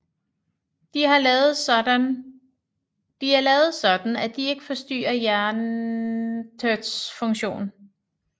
De er lavet sådan at de ikke forstyrrer hjertets funktion